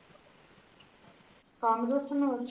ਕਮ ਦੱਸਣ ਨੂ।